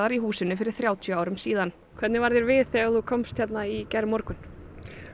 í húsinu fyrir þrjátíu árum síðan hvernig var þér við þegar þú komst hingað í gærmorgun